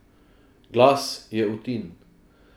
Glas je Utin.